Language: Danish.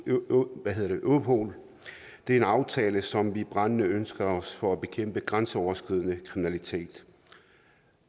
europol det er en aftale som vi brændende ønsker os for at bekæmpe grænseoverskridende kriminalitet